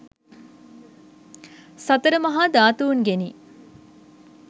සතර මහා ධාතූන්ගෙනි.